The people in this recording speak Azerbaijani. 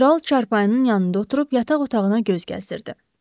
Kral çarpayının yanında oturub yataq otağına göz gəzdirdi.